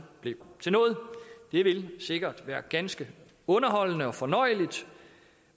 blev til noget det ville sikkert være ganske underholdende og fornøjeligt